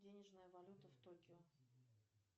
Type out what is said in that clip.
денежная валюта в токио